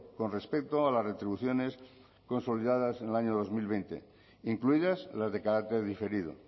con respecto a las retribuciones consolidadas en el año dos mil veinte incluidas las de carácter diferido